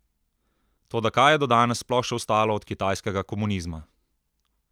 Toda kaj je do danes sploh še ostalo od kitajskega komunizma?